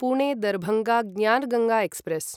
Pune Darbhanga Gyan Ganga express